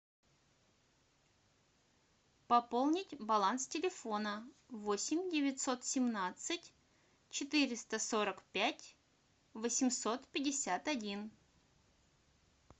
пополнить баланс телефона восемь девятьсот семнадцать четыреста сорок пять восемьсот пятьдесят один